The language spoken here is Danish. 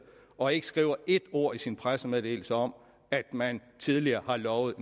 og ikke skriver et ord i sin pressemeddelelse om at man tidligere har lovet